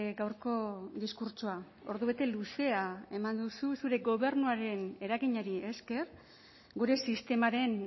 gaurko diskurtsoa ordubete luzea eman duzu zure gobernuaren eraginari esker gure sistemaren